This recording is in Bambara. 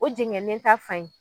O jɛŋɛnen ta fan in